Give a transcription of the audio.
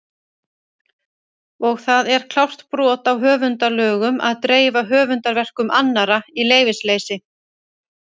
Og það er klárt brot á höfundalögum að dreifa höfundarverkum annarra í leyfisleysi!